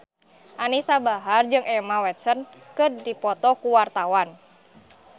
Anisa Bahar jeung Emma Watson keur dipoto ku wartawan